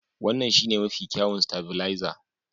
Wannan shine mafi kyawun stavilizer.